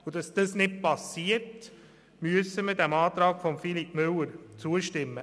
Damit das nicht passiert, müssen wir diesem Antrag zustimmen.